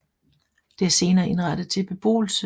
Det er senere indrettet til beboelse